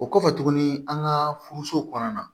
O kɔfɛ tuguni an ka furuso kɔnɔna na